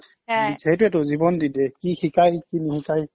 সেইটোৱেতো জীৱন দি দিয়ে কি শিকাই কি নিশিকাই